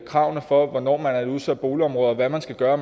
kravene for hvornår der er et udsat boligområde hvad man skal gøre